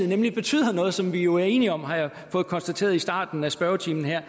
nemlig betyder noget som vi jo er enige om har jeg fået konstateret i starten af spørgetimen er